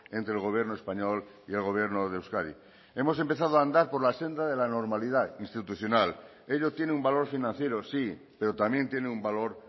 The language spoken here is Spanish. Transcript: entre el gobierno español y el gobierno de euskadi hemos empezado a andar por la senda de la normalidad institucional ello tiene un valor financiero sí pero también tiene un valor